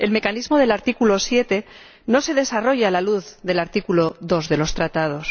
El mecanismo del artículo 7 no se desarrolla a la luz del artículo 2 del Tratado.